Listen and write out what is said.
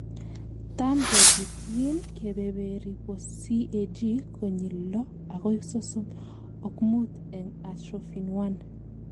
Tam keketyin kebeberi bo CAG konyil lo akoi sosom ok mut en atrophin 1.